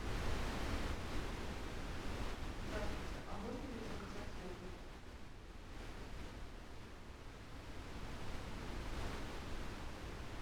здравствуйте а можно ли заказать йогурт